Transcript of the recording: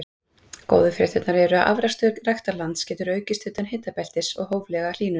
Góðu fréttirnar eru að afrakstur ræktarlands getur aukist utan hitabeltis við hóflega hlýnun.